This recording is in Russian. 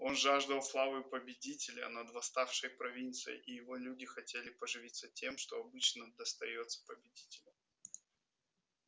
он жаждал славы победителя над восставшей провинцией и его люди хотели поживиться тем что обычно достаётся победителям